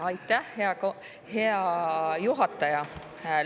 Aitäh, hea juhataja!